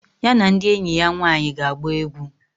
Ya na ndi enyi ya nwaanyi ga agba egwu.